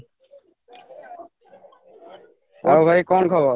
ଆଉ ଭାଇ କ'ଣ ଖବର?